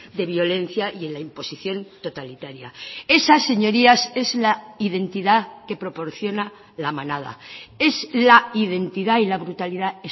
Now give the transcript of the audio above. de violencia y en la imposición totalitaria esa señorías es la identidad que proporciona la manada es la identidad y la brutalidad